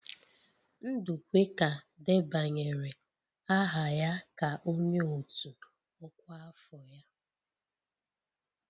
Ndukwe ka debanyere aha ya ka onye otu ọkwa afọ ya.